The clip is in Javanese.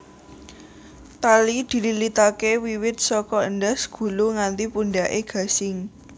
Tali dililitaké wiwit saka endhas gulu nganti pundhaké gasing